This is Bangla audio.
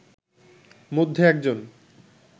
মধ্যে একজন